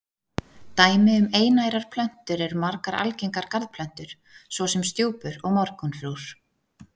Dæmi um einærar plöntur eru margar algengar garðplöntur svo sem stjúpur og morgunfrúr.